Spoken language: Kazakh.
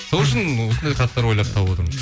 сол үшін осындай хаттар ойлап тауып отырмын